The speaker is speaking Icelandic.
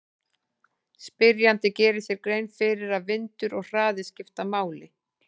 Spyrjandi gerir sér grein fyrir að vindur og hraði skipta máli.